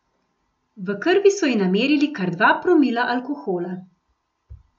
V krvi so ji namerili kar dva promila alkohola.